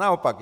Naopak.